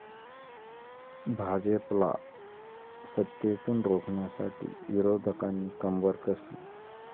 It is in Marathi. भाजपला सत्तेतून रोखण्यासाठी विरोधकांनी कंबर कसली.